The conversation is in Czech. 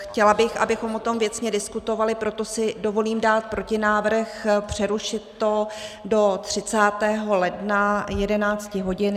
Chtěla bych, abychom o tom věcně diskutovali, proto si dovolím dát protinávrh přerušit to do 30. ledna 11 hodin.